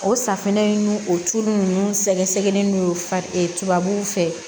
O safunɛ in n'o o tulu ninnu sɛgɛsɛgɛli n'o fa tubabuw fɛ